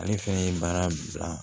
Ale fɛnɛ ye baara bila